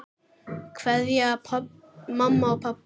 Kveðja mamma og pabbi.